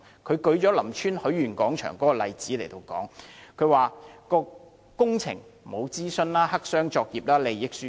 他舉出林村許願廣場的例子，指該工程並無進行諮詢，黑箱作業，涉及利益輸送。